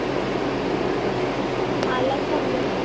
मलाच समजत नाही.